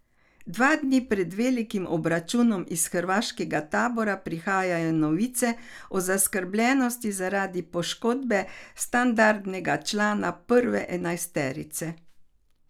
Dva dni pred velikim obračunom iz hrvaškega tabora prihaja novica o zaskrbljenosti zaradi poškodbe standardnega člana prve enajsterice.